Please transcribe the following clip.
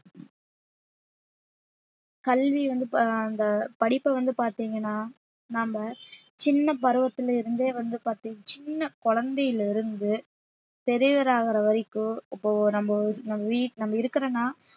கல்வி வந்து ப~ அந்த படிப்பை வந்து பார்த்தீங்கன்னா நம்ம சின்ன பருவத்திலிருந்தே வந்து பார்த்தீ~ சின்ன குழந்தையில இருந்து பெரியவர் ஆகுற வரைக்கும் இப்போ நம்ம வீ~ இருக்கிறோம்ன்னா